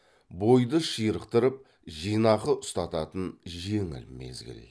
бойды ширықтырып жинақы ұстататын жеңіл мезгіл